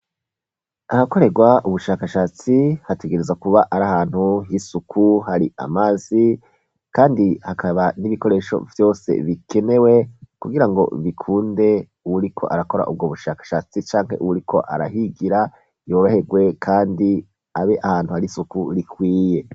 Ahakorerwa ubushakashatsi hategereza kuba ari ahantu h'isuku hari amazi, kandi hakaba n'ibikoresho vyose bikenewe kugira ngo bikunde uwuri ko arakora ubwo bushakashatsi canke uwuriko arahigira yoroherwe, kandi abe ahantu hari isuku rikwiye.